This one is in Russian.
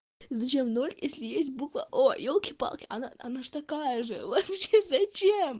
зачем ноль если есть буква о ёлки-палки она такая же вообще зачем